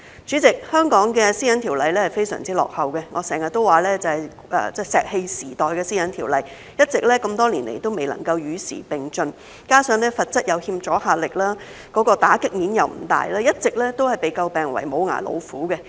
主席，香港的《個人資料條例》非常落後，我經常說是石器時代的《私隱條例》，多年來一直未能夠與時並進，加上罰則有欠阻嚇力，打擊面又不大，一直都被詬病為"無牙老虎"。